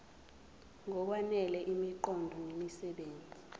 ngokwanele imiqondo nemisebenzi